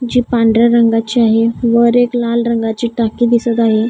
जी पांढऱ्या रंगाची आहे वर एक लाल रंगाची टाकी दिसत आहे.